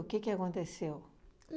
que que aconteceu?